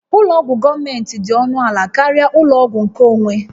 Ụlọ ọgwụ gọọmentị dị ọnụ ala karịa ụlọ ọgwụ nkeonwe